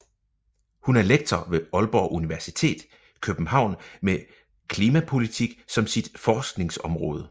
Hun er lektor ved Aalborg Universitet København med klimapolitik som sit forskningsområde